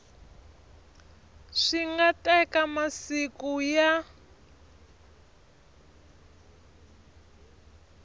swi nga teka masiku ya